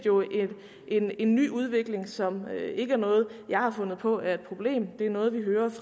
en en ny udvikling som ikke er noget jeg har fundet på er et problem det er noget vi hører